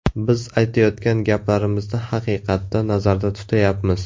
Biz aytayotgan gaplarimizni haqiqatda nazarda tutayapmiz.